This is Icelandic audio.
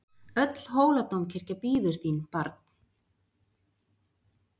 Öll Hóladómkirkja bíður þín barn!